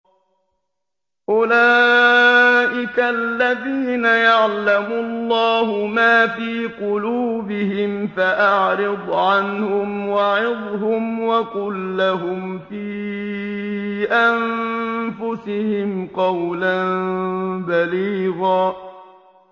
أُولَٰئِكَ الَّذِينَ يَعْلَمُ اللَّهُ مَا فِي قُلُوبِهِمْ فَأَعْرِضْ عَنْهُمْ وَعِظْهُمْ وَقُل لَّهُمْ فِي أَنفُسِهِمْ قَوْلًا بَلِيغًا